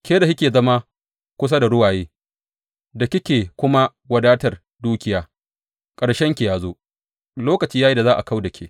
Ke da kike zama kusa da ruwaye da kike kuma wadatar dukiya, ƙarshenki ya zo, lokaci ya yi da za a kau da ke.